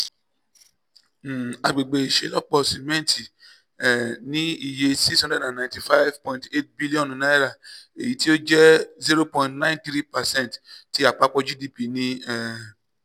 um agbegbe iṣelọpọ simẹnti um ni iye n six hundred ninety five point eight bilionu eyiti o jẹ zero point nine three percent ti apapọ gdp ni um